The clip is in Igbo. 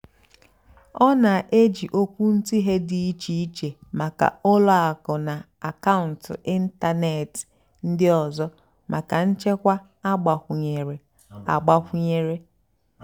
ọ́ nà-èjì ókwúntụ̀ghé dì íché íché màkà ùlọ àkụ́ nà àkàụ́ntụ́ ị́ntánètị́ ndí ọ́zọ́ màkà nchèkwà àgbàkwúnyéré. àgbàkwúnyéré.